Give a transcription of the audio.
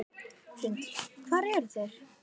Hrund: Hvar eru þeir?